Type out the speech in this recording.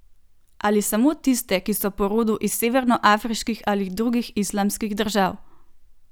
Ali samo tiste, ki so po rodu iz severnoafriških ali drugih islamskih držav?